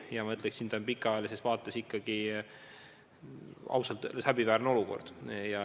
Ja ma ütleksin, et pikaajalises vaates on see ausalt öeldes ikkagi häbiväärne olukord.